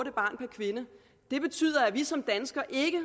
en barn per kvinde det betyder at vi som danskere ikke